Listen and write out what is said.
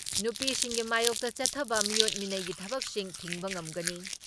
ꯅꯨꯄꯤꯁꯤꯡꯒꯤ ꯃꯥꯌꯣꯛꯇ ꯆꯠꯊꯕ ꯃꯤꯑꯣꯠ ꯃꯤꯅꯩꯒꯤ ꯊꯕꯛꯁꯤꯡ ꯊꯤꯡꯕ ꯉꯝꯒꯅꯤ ꯫